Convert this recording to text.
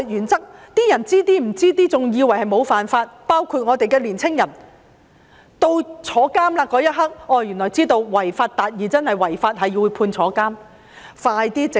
很多人對法律原則一知半解，以為沒有觸犯法例，包括年青人，到入獄那刻才知道"違法達義"真的是違法，會被判入獄。